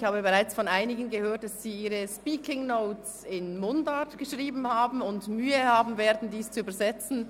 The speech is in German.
Ich habe bereits von einigen gehört, dass sie ihre «Speaking Notes» in Mundart geschrieben haben und Mühe haben werden, diese zu übersetzen.